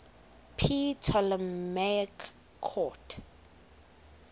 ptolemaic court